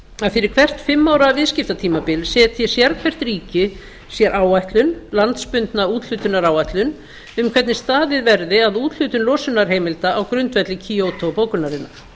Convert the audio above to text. að fyrir hvert fimm ára viðskiptatímabil setji sérhvert ríki sér áætlun landsbundna úthlutunaráætlun um hvernig staðið verði að úthlutun losunarheimilda á grundvelli kyoto bókunarinnar